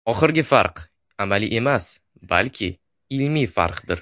Oxirgi farq amaliy emas, balki ilmiy farqdir.